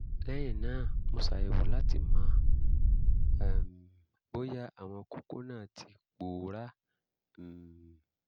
lẹ́yìn náà mo ṣàyẹ̀wò láti mọ̀ um bóyá àwọn kókó náà ti pòórá um